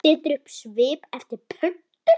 Setur upp svip eftir pöntun.